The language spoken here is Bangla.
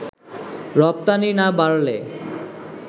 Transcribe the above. রপ্তানি না বাড়লে